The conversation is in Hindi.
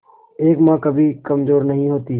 एक मां कभी कमजोर नहीं होती